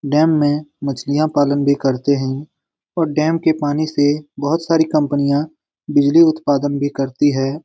Dam में मछलियाँ पालन भी करते है और डैम के पानी से बहोत सारी कम्पनियां बिजली उत्पादन भी करती हैं।